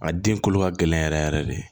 A den kolo ka gɛlɛn yɛrɛ yɛrɛ yɛrɛ de